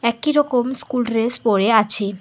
একই রকম school dress পরে আছে।